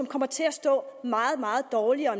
kommer til at stå meget meget dårligere og